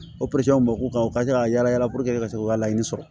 O bamakɔ ka u ka se ka yala yala puruke ka se k'u ka laɲini sɔrɔ